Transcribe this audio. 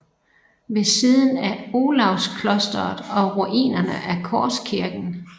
Ved siden af Olavsklosteret og ruinerne af Korskirken